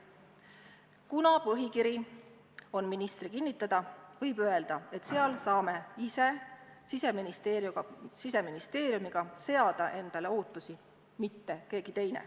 Kuna põhikiri on ministri kinnitada, võib öelda, et saame ise Siseministeeriumiga seada endale ootusi, mitte keegi teine.